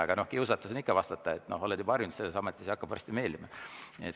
Aga kiusatus on ikka vastata, kui oled juba harjunud selles ametis ja see hakkab varsti meeldima.